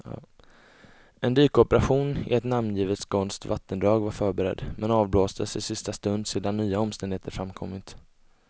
En dykoperation i ett namngivet skånskt vattendrag var förberedd, men avblåstes i sista stund sedan nya omständigheter framkommit.